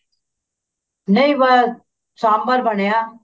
ਨਹੀਂ ਪਾਇਆ ਸਾਮਬਰ ਬਣਿਆ